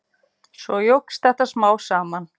Svo jókst þetta smám saman.